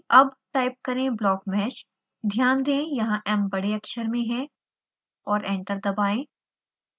अब टाइप करें blockmeshध्यान दें यहाँ m बड़े अक्षर में है और एंटर दबाएं